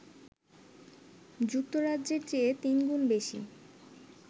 যুক্তরাজ্যের চেয়ে তিনগুণ বেশি!